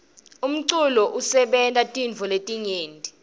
umculo usebenta tintfo letinyenti